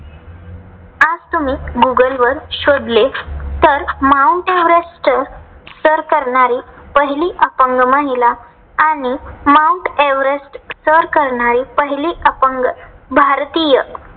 त्यात तुम्ही गुगलवर शोधले. तर माउंट एव्हरेस्ट सर करणारी पहिली अपंग महिला आणि माउंट एव्हरेस्ट सर करणारी पहिली अपंग भारतीय.